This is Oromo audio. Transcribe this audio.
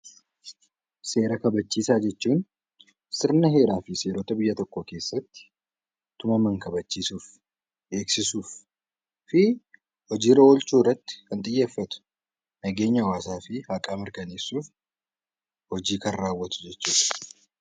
Seera kabachiisaa jechuun sirna heeraa fi seerota biyya tokkoo keessatti tumaman kabachiisuuf, beeksisuuf fi hojii irra oolchuu irratti kan xiyyeeffatu, nageenya hawaasaa fi mirgaa mirkaneessuuf kan raawwatu jechuu dha.